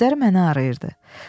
Gözləri məni arayırdı.